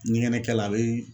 Ɲɛgɛkɛ la a bee